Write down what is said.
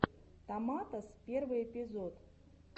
томатос первый эпизод